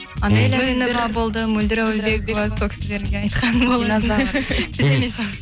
анеля болды мөлдір әуелбекова сол кісілерге айтқан болатын динозавр